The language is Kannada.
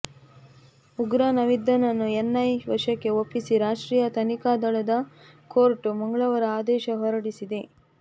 ಉಗ್ರ ನವೀದ್ನನ್ನು ಎನ್ಐಎ ವಶಕ್ಕೆ ಒಪ್ಪಿಸಿ ರಾಷ್ಟ್ರೀಯ ತನಿಖಾ ದಳದ ಕೋರ್ಟ್ ಮಂಗಳವಾರ ಆದೇಶ ಹೊರಡಿಸಿದೆ